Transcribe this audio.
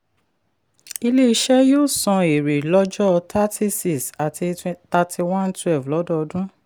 ilé-iṣẹ̀ yóò san èrè lọ́jọ́ 30/6 àti 31/12 lọ́dọọdún.